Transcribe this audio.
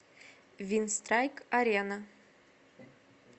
винстрайк арена